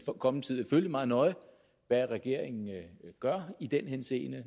kommende tid vil følge meget nøje hvad regeringen gør i den henseende og